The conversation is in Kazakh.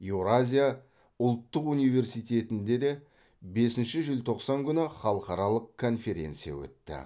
еуразия ұлттық университетінде де бесінші желтоқсан күні халықаралық конференция өтті